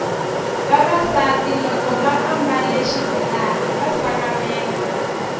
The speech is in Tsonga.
vavasati loko vambale xibelani va sakamela